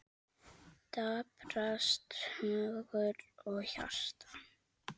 Daprast hugur og hjarta.